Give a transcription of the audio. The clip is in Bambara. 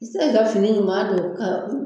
I bɛ se k'i ka fini ɲuman don ka